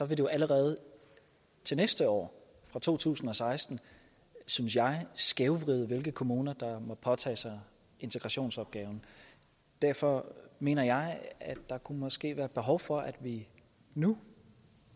det jo allerede til næste år fra to tusind og seksten synes jeg skævvride hvilke kommuner der må påtage sig integrationsopgaven derfor mener jeg at der måske kunne være behov for at vi nu